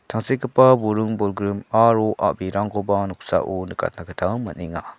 tangsekgipa buring bolgrim aro a·brirangkoba noksao nikatna gita man·enga.